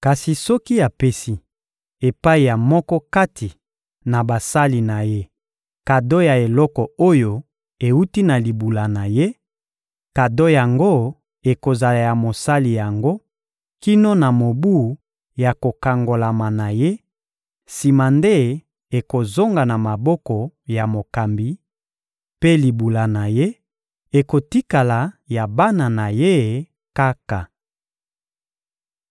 Kasi soki apesi epai ya moko kati na basali na ye kado ya eloko oyo ewuti na libula na ye, kado yango ekozala ya mosali yango kino na mobu ya kokangolama na ye; sima nde ekozonga na moboko ya mokambi, mpe libula na ye ekotikala ya bana na ye kaka.